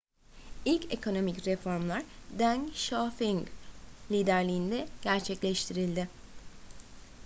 i̇lk ekonomik reformlar deng xiaoping liderliğinde gerçekleştirildi